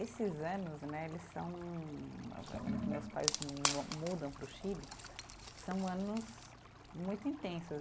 Esses anos né, eles são, no que meus pais mo mudam para o Chile, são anos muito intensos.